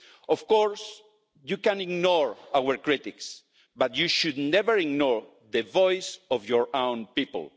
Of course, you can ignore our criticism, but you should never ignore the voice of your own people.